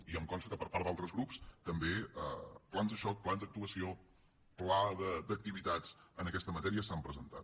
i em consta que per part d’altres grups també plans de xoc plans d’actuació pla d’activitats en aquesta matèria s’han presentat